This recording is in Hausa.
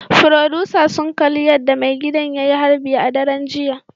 Furodusa sun kalli yadda maigidan ya yi harbi a daren jiya